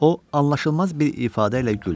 O anlaşılmaz bir ifadə ilə güldü.